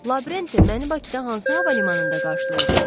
Lavrenti, məni Bakıda hansı hava limanında qarşılayacaqlar?